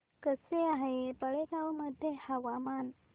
कसे आहे बेळगाव मध्ये हवामान